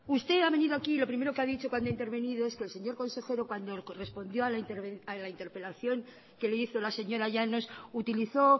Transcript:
usted ha venido aquí y lo primero que ha dicho cuando ha intervenido es que el señor consejero cuando correspondió a la interpelación que le hizo la señora llanos utilizó